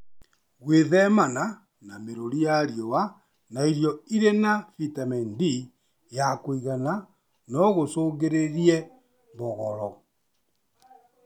Gwĩthemana na mĩrũri ya riũa na irio irĩ na vitemeni D ya kũigana nogũcũngĩrĩrie mbogoro